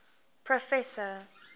proffesor